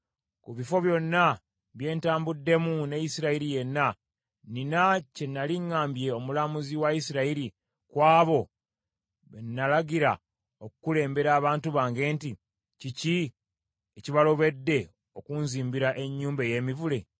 Mu bifo byonna bye ntambuddemu ne Isirayiri yenna, nnina kye nnali ŋŋambye omulamuzi wa Isirayiri, kw’abo be nalagira okukulembera abantu bange nti, “Kiki ekibalobedde, okunzimbira ennyumba ey’emivule?” ’